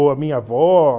Ou a minha avó.